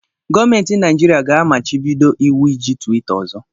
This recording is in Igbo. Gọọmentị Naịjirịa ga-amachibido iwu iji twita ọzọ.